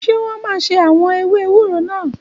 Ṣé wọ́n máa ṣe àwọn ewé ewúro náà?